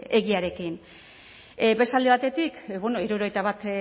egiarekin beste alde batetik hirurogeita bat